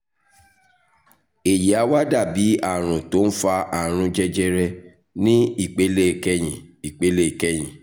èyí á wá dà bí àrùn tó ń fa àrùn jẹjẹrẹ ní ìpele kẹyìn ìpele kẹyìn